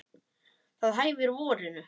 Það hæfir vorinu.